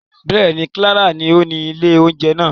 Bẹ́ẹ̀ni, Clara ni oni ìlé ounjẹ naa.